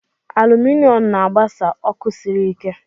Aluminọm na-agbasa ọkụ sịrị ike.